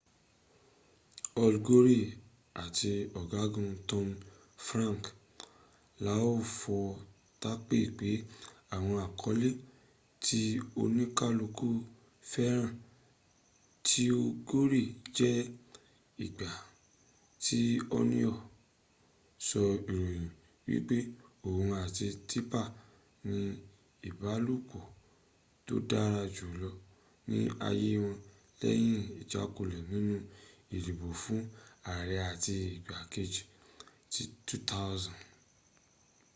al gore áti ọ̀gágun tommy franks láìfọtápè ka àwọn àkọlẹ́ ti´ oníkàlùkùn fẹ́ràn ti gore jé ìgbà tí onion sọ ìròyìn wípẹ́ òhun áti tipper n ní ìbálòpọ̀ tó dàra jùlo ní ayé wọn lẹ́yìn ìjákulẹ̀ nínú ìdìbò fún ààrẹ áti igbá kẹji ti 2000